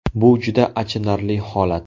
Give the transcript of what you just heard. Bu juda achinarli holat.